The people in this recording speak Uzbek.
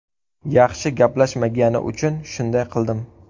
Yaxshi gaplashmagani uchun shunday qildim.